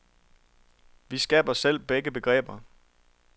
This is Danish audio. Vi skaber selv begge begreber.